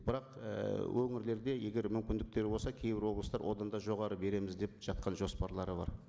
бірақ ііі өңірлерде егер мүмкіндіктері болса кейбір облыстар одан да жоғары береміз деп жатқан жоспарлары бар